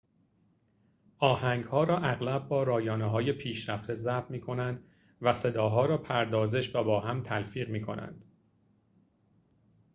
آهنگ‌ها را اغلب با رایانه‌های پیشرفته ضبط می‌کنند و صداها را پردازش و با هم تلفیق می‌کنند